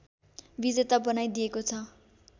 विजेता बनाइदिएको छ